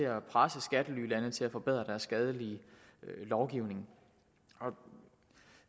at presse skattelylande til at forbedre deres skadelige lovgivning